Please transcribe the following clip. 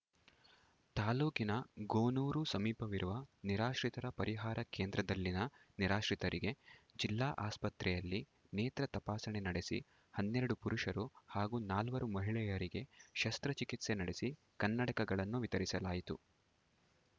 ತಾಲೂಕಿನ ಗೋನೂರು ಸಮೀಪವಿರುವ ನಿರಾಶ್ರಿತರ ಪರಿಹಾರ ಕೇಂದ್ರದಲ್ಲಿನ ನಿರಾಶ್ರಿತರಿಗೆ ಜಿಲ್ಲಾ ಆಸ್ಪತ್ರೆಯಲ್ಲಿ ನೇತ್ರ ತಪಾಸಣೆ ನಡೆಸಿ ಹನ್ನೆರಡು ಪುರುಷರು ಹಾಗೂ ನಾಲ್ವರು ಮಹಿಳೆಯರಿಗೆ ಶಸ್ತ್ರಚಿಕಿತ್ಸೆ ನಡೆಸಿ ಕನ್ನಡಕಗಳನ್ನು ವಿತರಿಸಲಾಯಿತು